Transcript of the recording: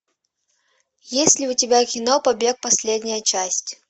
есть ли у тебя кино побег последняя часть